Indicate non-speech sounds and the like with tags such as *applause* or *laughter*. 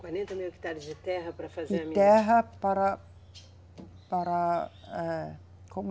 quarenta mil hectares de terra para fazer a. *unintelligible* De terra para, para, âh, como é